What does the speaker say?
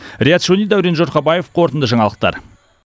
риат шони дәурен жұрхабаев қорытынды жаңалықтар